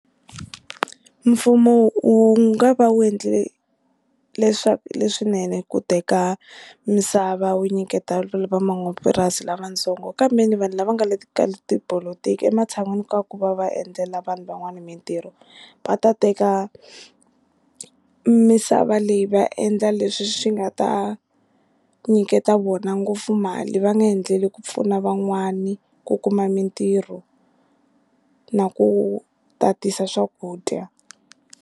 Mfumo wu nga va wu endle leswaku leswinene ku teka misava wu nyiketa van'wamapurasi lavatsongo kambeni vanhu lava nga le ka tipolotiki ematshan'wini ka ku va va endlela vanhu van'wana mintirho va ta teka misava leyi va endla leswi swi nga ta nyiketa vona ngopfu mali va nga endleli ku pfuna van'wani ku kuma mintirho na ku tatisa swakudya.